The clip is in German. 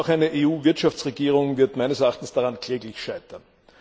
Auch eine EU Wirtschaftsregierung wird meines Erachtens daran kläglich scheitern.